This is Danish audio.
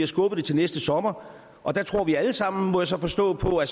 skubbet til næste sommer og der tror vi alle sammen må jeg så forstå på at